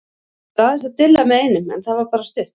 Ég var aðeins að dilla með einum en það var bara stutt.